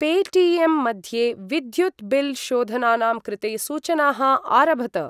Pay टि.एम्.मध्ये विद्युत् bill शोधनानां कृते सूचनाः आरभत।